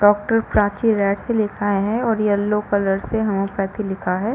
Doctor Prachi S लिखा है और येलो कलर से हेमिओपॅथी लिखा है।